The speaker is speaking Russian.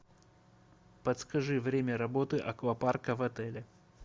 подскажи время работы аквапарка в отеле